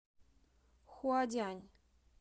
хуадянь